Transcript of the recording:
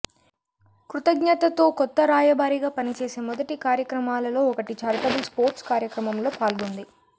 కృతజ్ఞతతో కొత్త రాయబారిగా పని చేసే మొదటి కార్యక్రమాలలో ఒకటి ఛారిటబుల్ స్పోర్ట్స్ కార్యక్రమంలో పాల్గొంది